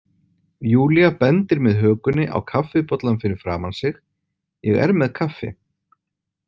Júlía bendir með hökunni á kaffibollann fyrir framan sig, ég er með kaffi.